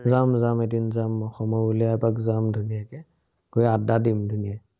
যাম যাম এদিন যাম মই, সময় উলিয়াই এপাক যাম ধুনীয়াকে। গৈ আদ্দা দিম ধুনীয়াকে।